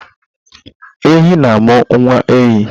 Ehi na-amụ nwa ehi